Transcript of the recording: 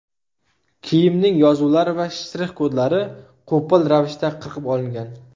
Kiyimning yozuvlari va shtrix-kodlari qo‘pol ravishda qirqib olingan.